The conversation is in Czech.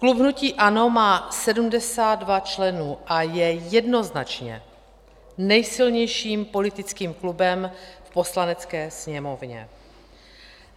Klub hnutí ANO má 72 členů a je jednoznačně nejsilnějším politickým klubem v Poslanecké sněmovně.